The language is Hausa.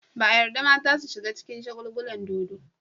Ba a yarda mata su shiga cikin shagulgulan dodo.